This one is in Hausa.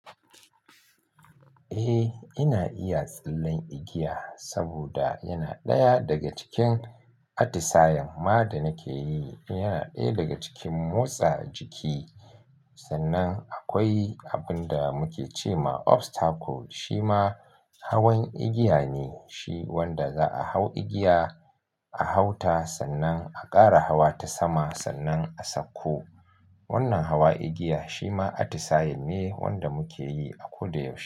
Eh, ina iya tsallen igiya saboda yana ɗaya daga cikin atisayen ma da nake yi. Yana ɗaya daga cikin motsa jiki, sannan akwai abun da muke ce ma obstacle, shi ma hawan igiya ne. Shi wanda za a hau igiya, a hau ta, sannan a ƙara hawa ta sama sannan a sauko. Wannan hawa igiya shi ma atisayen ne wanda muke yi a koda yaushe.